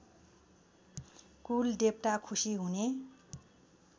कुलदेवता खुसी हुने